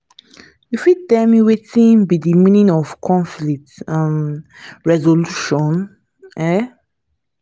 you fit tell me wetin be di meaning of conflict um resolution? um